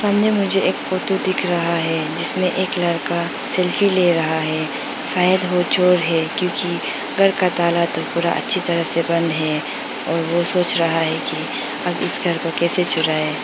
यह मुझे एक फोटो दिख रहा है जिसमें एक लड़का सेल्फी ले रहा है शायद वो चोर है क्योंकि घर का ताला तो पूरा अच्छी तरह से बंद है और वह सोच रहा है कि अब इस घर को कैसे चुराए।